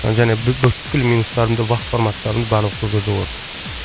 және бүкіл минустарым да вав форматтарым барлығы сол жерде болады